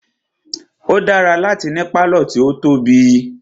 O dára láti ní pálọ̀ tí o tóbi.